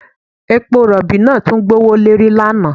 Epo rọ̀bì náà tún gbówó lórí lánàá